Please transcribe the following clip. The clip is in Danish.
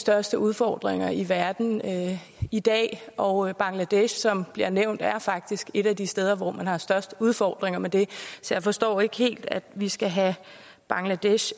største udfordringer i verden i dag og bangladesh som bliver nævnt er faktisk et af de steder hvor man har størst udfordringer med det så jeg forstår ikke helt at vi skal have bangladesh